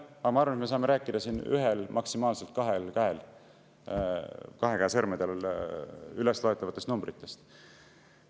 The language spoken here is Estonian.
Ma arvan, et me saame rääkida siin ühe, maksimaalselt kahe käe sõrmedel üles loetavast numbrist.